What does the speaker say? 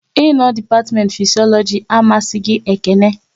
Ị no dipatiment Fisiologi amasịghi Ekene